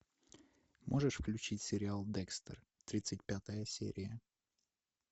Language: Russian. можешь включить сериал декстер тридцать пятая серия